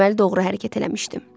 Deməli, doğru hərəkət eləmişdim.